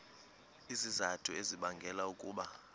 izizathu ezibangela ukuba